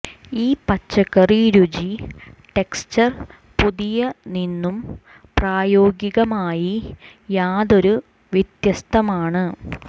ഈ പച്ചക്കറി രുചി ടെക്സ്ചർ പുതിയ നിന്നും പ്രായോഗികമായി യാതൊരു വ്യത്യസ്തമാണ്